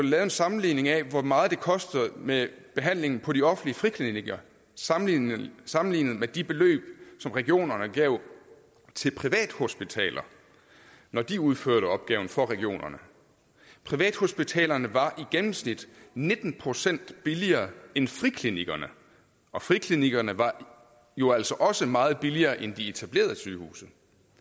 lavet en sammenligning af hvor meget det koster med behandlingen på de offentlige friklinikker sammenlignet sammenlignet med de beløb som regionerne gav til privathospitaler når de udførte opgaven for regionerne privathospitalerne var i gennemsnit nitten procent billigere end friklinikkerne og friklinikkerne var jo altså også meget billigere end de etablerede sygehuse